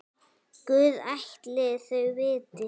Guð ætli þau viti.